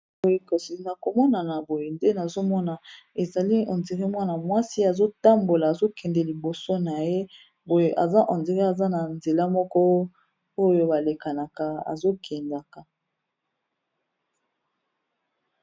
Boyekasi na komona na boye nde nazomona ezali ondiré mwana mwasi azotambola azokende liboso na ye boye aza nodire aza na nzela moko oyo balekaka azo tambola nakati ya balabala